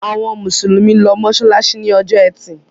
Àwọn Musulumi ló masalasi ní Ọjọ́ Ẹti.